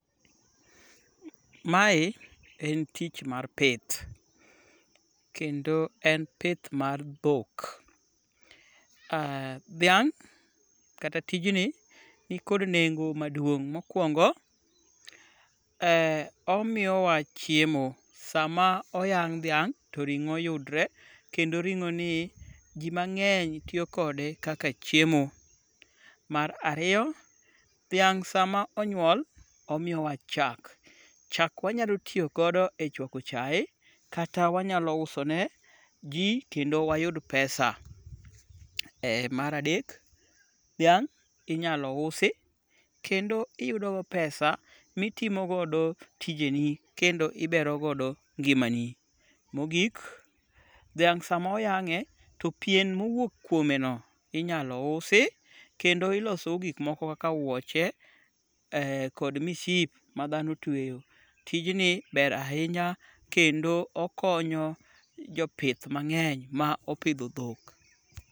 Mae en tich mar pith, kendo en pith mar dhok. Dhiang' kata tijni nikod nengo maduong' mokwongo, omiyowa chiemo sama oyang' dhiang' to ring'o yudre kendo ring'oni ji mang'eny tiyo kode kaka chiemo. Mar ariyo, dhiang' sama onyuol omiyowa chak. Chak wanyalo tiyogodo e chwako chae kata wanyalo uso ne ji kendo wayud pesa. Mar adek, dhiang' inyalo usi kendo iyudogo pesa mitimogodo tijeni kendo iberogodo ngimani. Mogiok, dhiang' sama oyang'e to pien mowuok kuomeno inyalo usi kendo iloso go gikmoko kaka wuoche kod miship ma dhano tweyo. Tijni ber ahinya kendo okonyo jopith mang'eny ma opidho dhok.